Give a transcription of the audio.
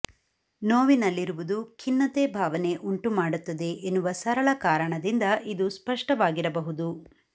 ನೋವಿನಲ್ಲಿರುವುದು ಖಿನ್ನತೆ ಭಾವನೆ ಉಂಟುಮಾಡುತ್ತದೆ ಎನ್ನುವ ಸರಳ ಕಾರಣದಿಂದ ಇದು ಸ್ಪಷ್ಟವಾಗಿರಬಹುದು